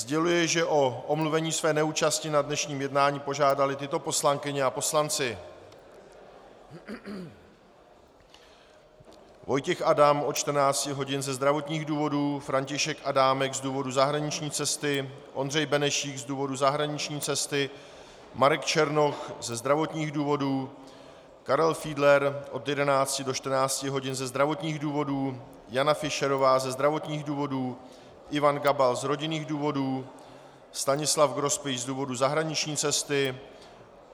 Sděluji, že o omluvení své neúčasti na dnešním jednání požádali tyto poslankyně a poslanci: Vojtěch Adam od 14 hodin ze zdravotních důvodů, František Adámek z důvodu zahraniční cesty, Ondřej Benešík z důvodu zahraniční cesty, Marek Černoch ze zdravotních důvodů, Karel Fiedler od 11 do 14 hodin ze zdravotních důvodů, Jana Fischerová ze zdravotních důvodů, Ivan Gabal z rodinných důvodů, Stanislav Grospič z důvodu zahraniční cesty.